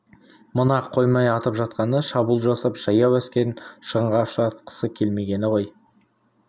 мына қоймай атып жатқаны шабуыл жасап жаяу әскерін шығынға ұшыратқысы келмегені ғой